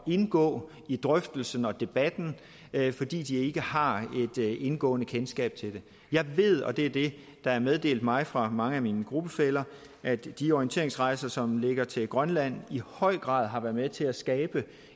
indgå i drøftelsen og debatten fordi de ikke har et indgående kendskab til det jeg ved og det er det der er meddelt mig fra mange af mine gruppefæller at de orienteringsrejser som ligger til grønland i høj grad har været med til at skabe